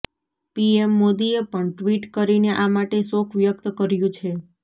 PM મોદીએ પણ tweet કરીને આ માટે શોક વ્યક્ત કર્યું છે